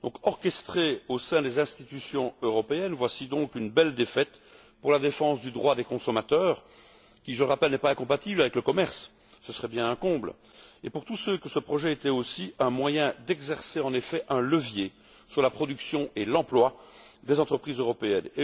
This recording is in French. Orchestrée au sein même des institutions européennes, voilà donc une belle défaite pour les défenseurs du droit des consommateurs, qui, je le rappelle, n'est pas incompatible avec le commerce ce serait bien un comble et pour tous ceux qui pensaient que ce projet était aussi un moyen d'exercer un levier sur la production et l'emploi des entreprises européennes.